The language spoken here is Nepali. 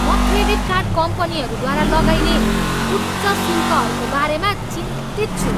म क्रेडिट कार्ड कम्पनीहरूद्वारा लगाइने उच्च शुल्कहरूको बारेमा चिन्तित छु।